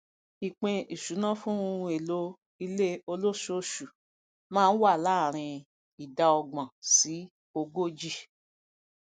ìpín ìṣúná fún ohun èlò ilé olósoosù má ń wà láàárín ìdá ọgbọn sí ogójì